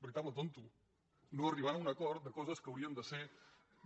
veritable tonto no arribant a un acord de co·ses que haurien de ser